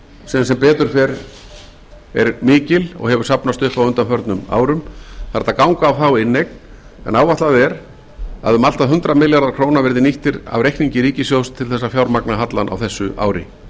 sem sem betur fer er mikil og hefur safnast upp á undanförnum árum það er hægt að ganga á þá inneign en áætlað er að um allt að hundrað milljarðar króna verði nýttir af inneignum ríkissjóðs til að fjármagna hallann á þessu ári frekari